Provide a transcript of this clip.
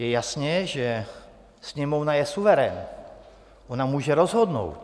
Je jasné, že Sněmovna je suverén, ona může rozhodnout.